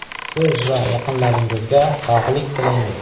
Siz va yaqinlaringizga sog‘lik tilaymiz!